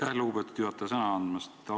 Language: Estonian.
Aitäh, lugupeetud juhataja, sõna andmast!